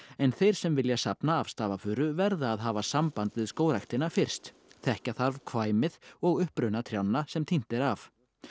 en þeir sem vilja safna af stafafuru verða að hafa samband við Skógræktina fyrst þekkja þarf og uppruna trjánna sem tínt er af